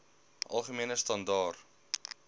algemene standaar